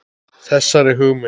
Þessari hugmynd